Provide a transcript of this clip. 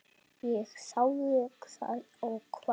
Ég þáði það og kvaddi.